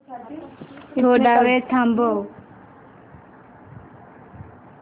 थोडा वेळ थांबव